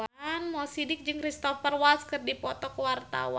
Mo Sidik jeung Cristhoper Waltz keur dipoto ku wartawan